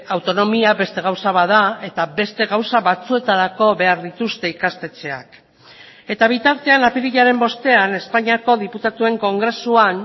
autonomia beste gauza bat da eta beste gauza batzuetarako behar dituzte ikastetxeak eta bitartean apirilaren bostean espainiako diputatuen kongresuan